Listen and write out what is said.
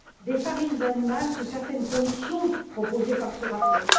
des farines animales sous certaines conditions proposées par ce rapport.